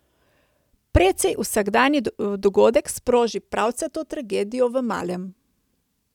Precej vsakdanji dogodek sproži pravcato tragedijo v malem.